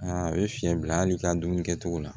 Aa a bɛ fiyɛn bila hali i ka dumuni kɛ cogo la